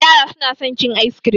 Yara su na son cin ayis kirim